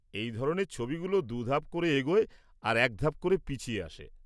এই ধরনের ছবিগুলো দু ধাপ করে এগোয় আর এক ধাপ করে পিছিয়ে আসে।